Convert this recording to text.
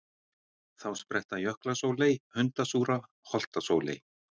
Þá spretta jöklasóley, hundasúra, holtasóley.